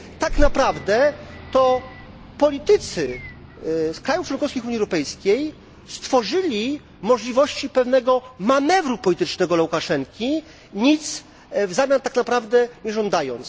Tak naprawdę to politycy z krajów członkowskich Unii Europejskiej stworzyli możliwości pewnego manewru politycznego dla Łukaszenki nic w zamian za to tak naprawdę nie żądając.